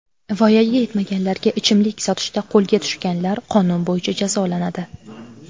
Voyaga yetmaganlarga ichimlik sotishda qo‘lga tushganlar qonun bo‘yicha jazolanadi.